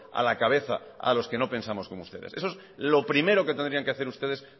a la cabeza a los que no pensamos como ustedes eso es lo primero que tendrían que hacer ustedes